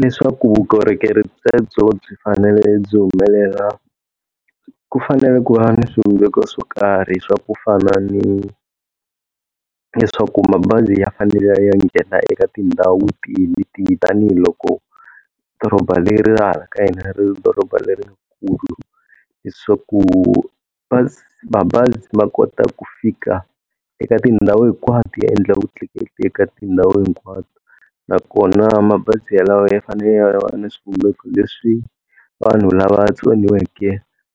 Leswaku vukorhokeri byebyo byi fanele byi humelela, ku fanele ku va ni swivumbeko swo karhi swa ku fana ni leswaku mabazi ya fanele ya ya nghena eka tindhawu tihi ni tihi tanihiloko doroba leri ra hala ka hina ri ri doroba lerikulu. Leswaku mabazi ma kota ku fika eka tindhawu hinkwato ya endla vutleketli eka tindhawu hinkwato nakona mabazi yalawa ya fanele ya va na swivumbeko leswi vanhu lava va tsoniweke